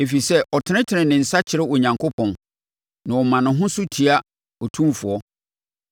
ɛfiri sɛ ɔtenetene ne nsa kyerɛ Onyankopɔn na ɔma ne ho so tia Otumfoɔ.